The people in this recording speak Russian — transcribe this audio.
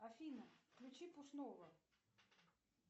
афина включи пушного